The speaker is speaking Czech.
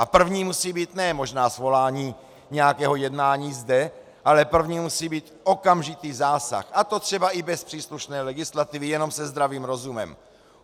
A první musí být ne možná svolání nějakého jednání zde, ale první musí být okamžitý zásah, a to třeba i bez příslušné legislativy, jenom se zdravým rozumem.